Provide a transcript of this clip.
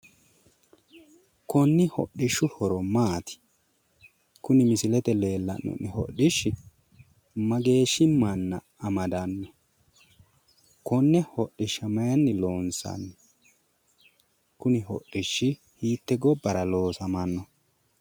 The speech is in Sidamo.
Konni hidhishshu horo maati? kuni misileete aana leellanno hodhishshi mageeshshi manna amadanno? konne hodhishsha mayiinni loonsanni? Kuni hodhishshi hiitte gobbara loosamanno?